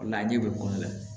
O de la ɲɛ bɛ kolo la